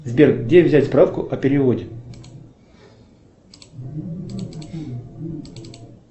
сбер где взять справку о переводе